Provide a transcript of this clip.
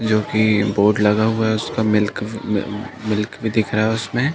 जो कि बोर्ड लाग हुआ है मिल्क भी दिख रहा है उस में--